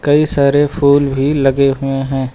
कई सारे फूल भी लगे हुए हैं।